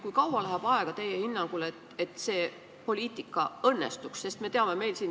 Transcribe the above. Kui kaua läheb teie hinnangul aega, et see poliitika õnnestuks?